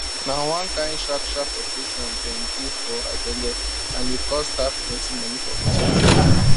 na one kain sharp sharp operation dem do for her belle and e cost her plenty money for hospital